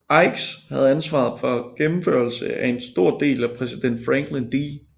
Ickes havde ansvaret for gennemførelse af en stor del af præsident Franklin D